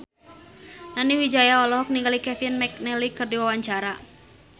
Nani Wijaya olohok ningali Kevin McNally keur diwawancara